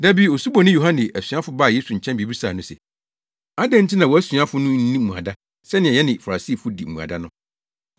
Da bi Osuboni Yohane asuafo baa Yesu nkyɛn bebisaa no se, “Adɛn nti na wʼasuafo no nni mmuada, sɛnea yɛne Farisifo di mmuada no?”